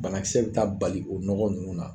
Bana kisɛ bɛ taa bali o nɔgɔ nunnu na